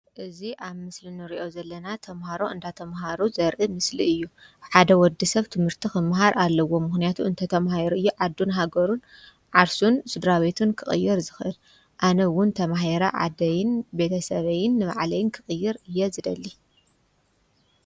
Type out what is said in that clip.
እዚ አብ ምስሊ ንሪኦ ዘለና ተምሃሮ እንዳተምሃሩ ዘርኢ ምስሊ እዪ። ሓደ ወዲ ሰብ ትምህርቲ ክመሃር አለዎ ምክንያቱ እንተ ተማሂሩ እዪ ዓዱ፣ ሀገሩ፣ ዓርሱን፣ ስድራ ቤቱን ክቅይር ዝክእል። አነ ዉን ተማሂረ ዓደይን ፣ቤተሰበይን፣ ንባዕለይን ክቅይር እየ ዝደሊ ።